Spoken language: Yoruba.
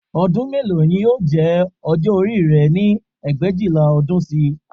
Ọdún mélòó ni yóò jẹ́ ọjọ́ orí rẹ ní ẹgbẹ̀éjìlá ọdún sí i